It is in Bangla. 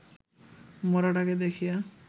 মড়াটাকে দেখিয়া